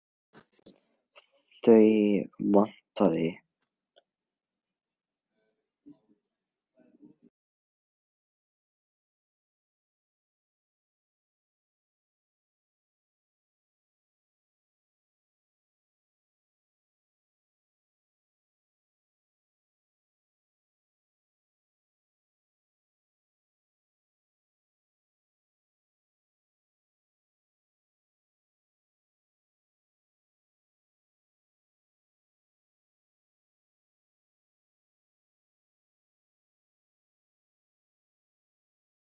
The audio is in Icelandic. Þau vantaði og mér fannst hún geta keypt þau.